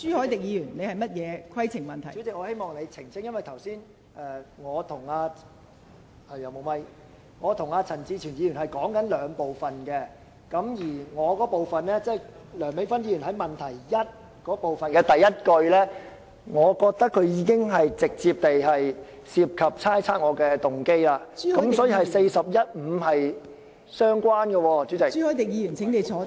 代理主席，我希望你澄清一下，因為剛才我和陳志全議員討論的是兩部分，我那部分是有關梁美芬議員在質詢第一部分的第一句，我覺得這已涉及直接猜測我的動機，所以，這與《議事規則》第415條是相關的。